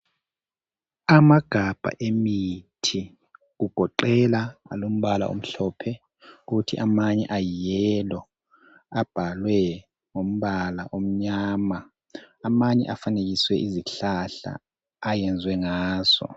Amagabha emithi kugoqela alombala omhlophe kuthi amanye ayi yellow abhalwe ngombala omnyama. Amanye afanekiswe izihlahla ayenziwe ngazo.